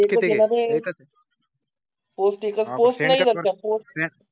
post नाही आहि का